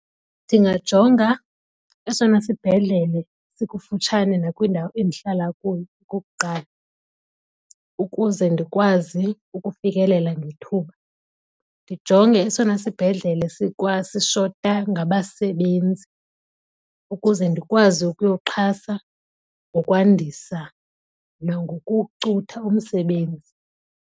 Ndingajonga esona sibhedlele sikufutshane nakwindawo endihlala kuyo, okokuqala, ukuze ndikwazi ukufikelela ngethuba. Ndijonge esona sibhedlele sishota ngabasebenzi ukuze ndikwazi ukuyoxhasa ngokwandisa nangokucutha umsebenzi.